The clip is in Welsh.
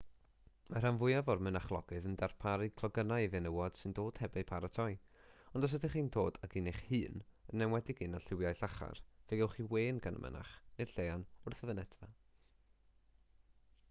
mae'r rhan fwyaf o'r mynachlogydd yn darparu clogynnau i fenywod sy'n dod heb eu paratoi ond os ydych chi'n dod ag un eich hun yn enwedig un â lliwiau llachar fe gewch chi wên gan y mynach neu'r lleian wrth y fynedfa